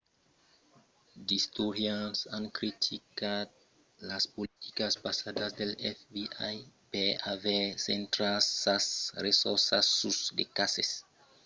d'istorians an criticat las politicas passadas del fbi per aver centrat sas ressorças sus de cases que son de bon resòlvre particularament los cases de veituras raubadas amb la tòca de far créisser lo taus de reüssida de l'agéncia